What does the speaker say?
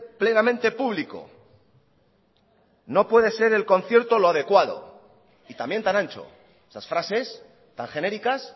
plenamente público no puede ser el concierto lo adecuado y también tan ancho esas frases tan genéricas